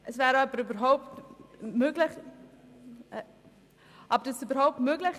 Dass dies überhaupt möglich ist, ist keine gute Lösung.